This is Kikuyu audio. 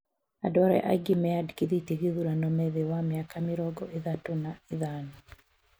Andu arĩa aingĩ meandĩkithĩtie gĩthurano me thĩĩ wa miaka mĩrongo ithatũ na ithano